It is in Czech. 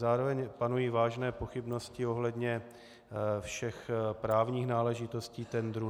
Zároveň panují vážné pochybnosti ohledně všech právních náležitostí tendru.